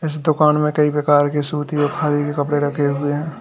इस दुकान में कई प्रकार के सूती और खादी के कपड़े रखे हुए हैं।